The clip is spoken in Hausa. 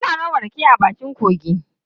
Ana noma rake a bakin kogi.